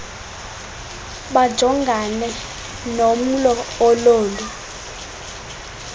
bajongane nomlo ololu